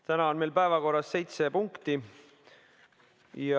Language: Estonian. Täna on meil päevakorras seitse punkti.